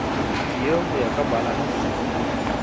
tieho ho ya ka balanse